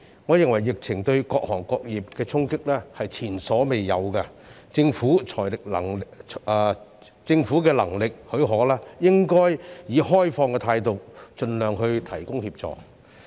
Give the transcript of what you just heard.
我認為疫情對各行各業的衝擊是前所未有的，政府如果能力許可，應以開放的態度盡量提供協助。